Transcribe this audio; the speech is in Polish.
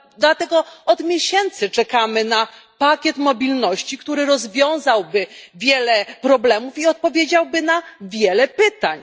Dlatego od miesięcy czekamy na pakiet mobilności, który rozwiązałby wiele problemów i odpowiedziałby na wiele pytań.